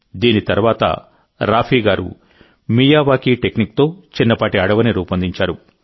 దీని తర్వాత రాఫీ గారు మియావాకీ టెక్నిక్తో చిన్నపాటి అడవిని రూపొందించారు